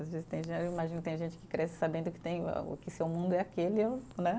Às vezes tem ge, eu imagino tem gente que cresce sabendo que tem a, que seu mundo é aquele, né?